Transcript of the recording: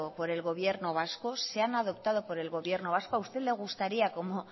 por el gobierno vasco